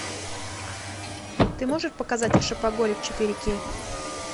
ты можешь показать шопоголик четыре кей